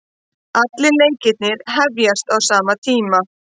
Allir leikirnir hefjast á sama tíma